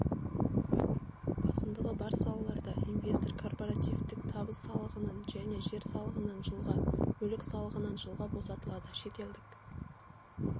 басымдығы бар салаларда инвестор корпоративтік табыс салығынан және жер салығынан жылға мүлік салығынан жылға босатылады шетелдік